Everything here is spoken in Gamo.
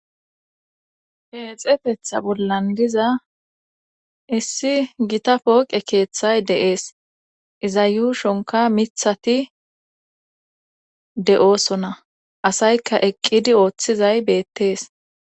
Peexetetha bollan diza issi gita pooqe keeththay de'ees iza yuushonka mithati de'oosona asayka eqqidi ooththizay beettees.